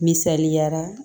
Misaliyara